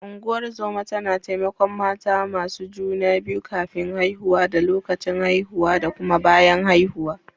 Ungozoma tana taimakon mata masu juna biyu kafin haihuwa da lokacin haihuwa da kuma bayan haihuwa.